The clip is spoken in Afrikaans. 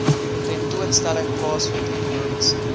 tentoonstelling plaasvind ekonomiese